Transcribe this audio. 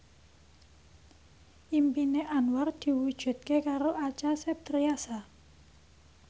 impine Anwar diwujudke karo Acha Septriasa